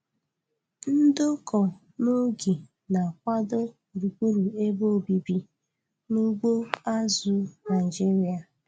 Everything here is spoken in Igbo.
Ndokọ n'oge na-akwado gburugburu ebe obibi n' ugbo azụ̀ Naịjiria.